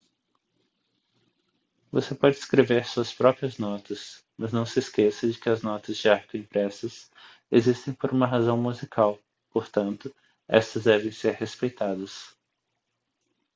você pode escrever suas próprias notas mas não se esqueça de que as notas de arco impressas existem por uma razão musical portanto estas devem ser respeitadas